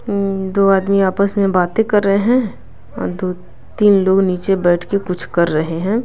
दो आदमी आपस में बातें कर रहे हैं और दो तीन लोग नीचे बैठ के कुछ कर रहे हैं।